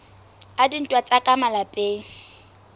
a dintwa tsa ka malapeng